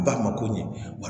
Ba ma ko ɲɛ